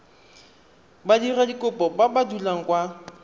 badiradikopo ba ba dulang kwa